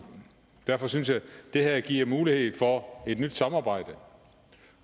derfor synes jeg at det her giver mulighed for et nyt samarbejde